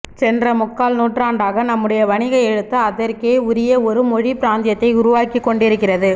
சென்ற முக்கால் நூற்றாண்டாக நம்முடைய வணிக எழுத்து அதற்கே உரிய ஒரு மொழிப் பிராந்தியத்தை உருவாக்கிக் கொண்டிருக்கிறது